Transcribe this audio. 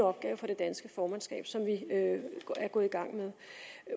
opgave for det danske formandskab som vi er gået i gang med